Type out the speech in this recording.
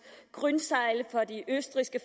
grünsteidl fra det østrigske